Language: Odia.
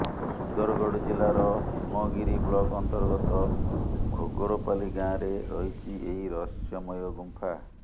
ସୁନ୍ଦରଗଡ଼ ଜିଲ୍ଲାର ହେମଗିରି ବ୍ଲକ୍ ଅନ୍ତର୍ଗତ ଘୋଘରପାଲି ଗାଁରେ ରହିଛି ଏହି ରହସ୍ୟମୟ ଗୁମ୍ଫା